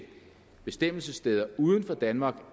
bestemmelsessteder uden for danmark